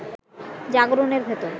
জাগরণের ভেতর